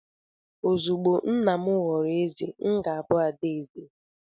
Ozugbo nna m ghọrọ eze, m ga-abụ ada eze..